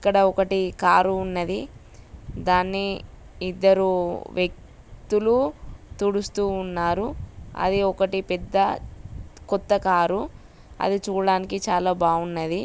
ఇక ఇక్కడ ఒకటి కారు ఉన్నది. దాన్ని ఇద్దరు వ్యక్తులు తుడుస్తూ ఉన్నారు. అది ఒకటి పెద్ద కొత్త కారు అది చూడ్డానికి చాల బాగున్నది.